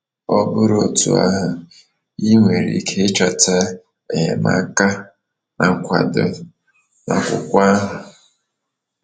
Ọ bụrụ otú ahụ, ị nwere ike ịchọta enyemaka na nkwado n’akwụkwọ ahụ.